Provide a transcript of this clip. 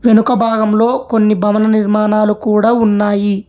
వెనుక భాగంలో కొన్ని భవన నిర్మాణాలు కూడా ఉన్నాయి.